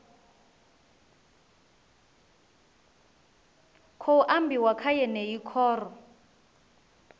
khou ambiwa kha yeneyi khoro